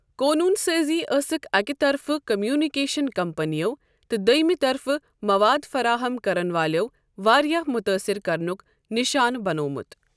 قونوٗن سٲزی ٲسٕکھ اَکہِ طرفہٕ کمیونیکیشن کمپنیَو تہٕ دوٚیمہِ طرفہٕ مواد فراہم کرَن والٮ۪و واریٛاہ مُتٲثِر کرنُک نشانہٕ بنٛوٚومُت۔